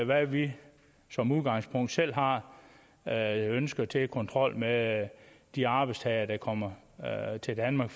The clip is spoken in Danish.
hvad vi som udgangspunkt selv har af ønsker til kontrol med de arbejdstagere der kommer til danmark